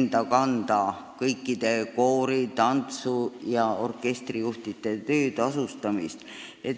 enda kanda kõikide koori-, tantsu- ja orkestrijuhtide töö tasustamist.